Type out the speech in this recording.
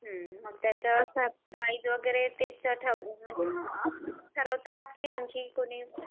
त्याच्या प्राईस वगैरे तेच ठरवतात की मग आणखी कोणी